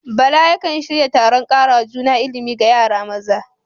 Bala yakan shirya taron karawa juna ilimi ga yara maza.